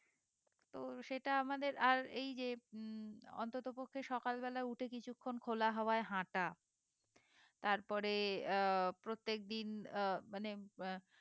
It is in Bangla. তো সেটা আমাদের আর এই যে উম অন্তত পক্ষে সকাল বেলা উঠে কিছুক্ষন খোলা হাওয়ায় হাঁটা তারপরে আহ প্রত্যেক দিন আহ মানে আহ